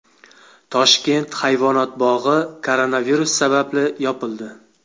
Toshkent hayvonot bog‘i koronavirus sababli yopildi.